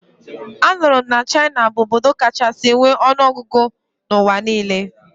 Anụrụ m na China bụ obodo kachasi nwe ọnụọgụgụ n'ụwa niile